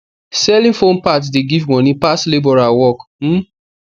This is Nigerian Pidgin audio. selling phone parts de give moni pass labourer work um